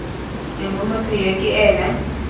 mme motho yo ke ena